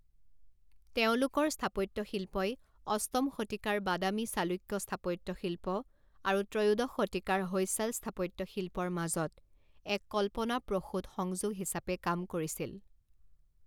তেওঁলোকৰ স্থাপত্যশিল্পই অষ্টম শতিকাৰ বাদামী চালুক্য স্থাপত্যশিল্প আৰু ত্ৰয়োদশ শতিকাৰ হৈছাল স্থাপত্যশিল্পৰ মাজত এক কল্পনাপ্ৰসূত সংযোগ হিচাপে কাম কৰিছিল।